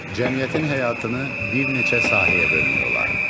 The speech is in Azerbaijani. Cəmiyyətin həyatını bir neçə sahəyə bölmək olar.